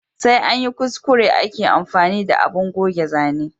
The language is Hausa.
Sai anyi kuskure ake amfani da abun goge zane